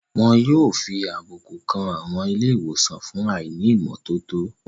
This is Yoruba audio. Wọn yóò fi àbùkù kan àwọn ilé ìwòsàn fún àìní ìmọ́tótó